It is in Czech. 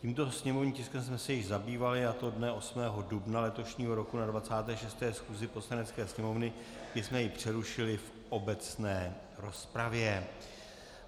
Tímto sněmovním tiskem jsme se již zabývali, a to dne 8. dubna letošního roku na 26. schůzi Poslanecké sněmovny, kdy jsme ho přerušili v obecné rozpravě.